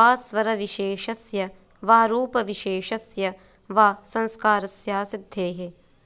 वा स्वरविशेषस्य वा रुपविशेषस्य वा संस्कारस्यासिद्धेः